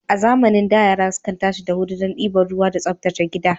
A zamanin da, yara sukan tashi da wuri don ɗiba ruwa da tsaftace gida.